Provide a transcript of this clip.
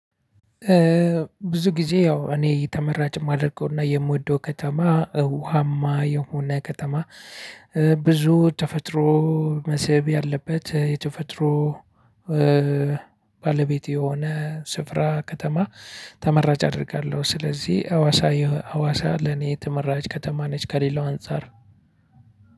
ብዙ ጊዜ ያው እኔ ተመራጭ ማደርገው እና የምወደው ከተማ እውሃማ የሆነ ከተማ። ብዙ ተፈጥሮ መስህብ ያለበት የተፈጥሮ። ባለቤት የሆነ ስፍራ ከተማ ተመራጭ አደርጋለሁ። ስለዚህ ሀዋሳ ሀዋሳ ለኔ ተመራጭ ከተማ ነች። ከሌላው አንፃር